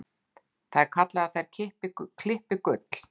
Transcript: Það er kallað að þær klippi gull.